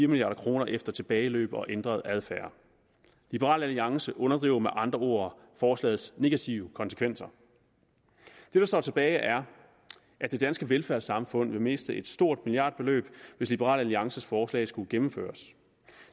milliard kroner efter tilbageløb og ændret adfærd liberal alliance underdriver med andre ord forslagets negative konsekvenser det der står tilbage er at det danske velfærdssamfund ville miste et stort milliardbeløb hvis liberal alliances forslag skulle gennemføres